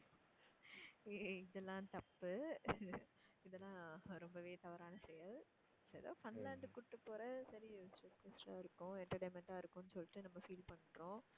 ஏய் இதெல்லம் தப்பு இதெல்லாம் ரொம்பவே தவறான செயல் எதோ funland கூட்டுபோற சரி இருக்கும் entertainment ஆ இருக்கும்னு சொல்லிட்டு நம்ம feel பண்றோம்